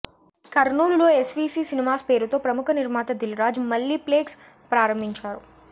కర్నూలులో SVC cinemas పేరుతో ప్రముఖ నిర్మాత దిల్ రాజు మల్లీప్లెక్స్ ప్రారంభించారు